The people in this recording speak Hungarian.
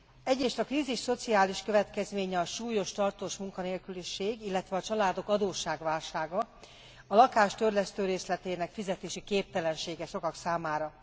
Egyrészt a krízis szociális következménye a súlyos, tartós munkanélküliség, illetve a családok adósságválsága, a lakás törlesztőrészletének fizetési képtelensége sokak számára.